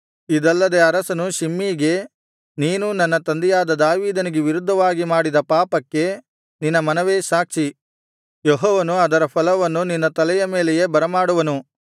ಇದಲ್ಲದೆ ಅರಸನು ಶಿಮ್ಮೀಗೆ ನೀನು ನನ್ನ ತಂದೆಯಾದ ದಾವೀದನಿಗೆ ವಿರುದ್ಧವಾಗಿ ಮಾಡಿದ ಪಾಪಕ್ಕೆ ನಿನ್ನ ಮನವೇ ಸಾಕ್ಷಿ ಯೆಹೋವನು ಅದರ ಫಲವನ್ನು ನಿನ್ನ ತಲೆಯ ಮೇಲೆ ಬರಮಾಡುವನು